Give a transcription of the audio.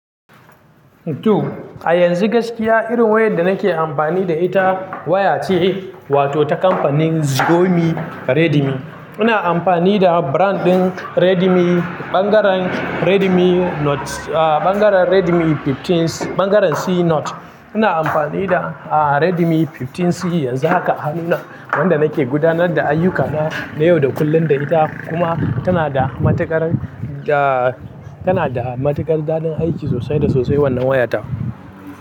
To a yanzu gaskiya irin wayar da nake amfani da ita waya ce wato ta kamfanin Xiaomi Redmi. Ina amfani da brand ɗin Redmi, ɓangaren Redmi Note, ɓangaren Redmi 15, ɓangaren C Note. Ina amfani da Redmi 15C yanzu haka hannuna, wanda nake gudanar da ayyukana na yau da kullum da ita kuma tana da matuƙar da, tana da matuƙar dadin aiki sosai da sosai wannan wayata.